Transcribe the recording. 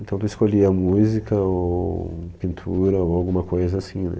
Então tu escolhia música ou pintura ou alguma coisa assim, né?